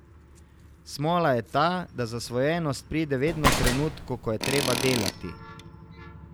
Smola je ta, da zasvojenost pride vedno v trenutku, ko je treba delati.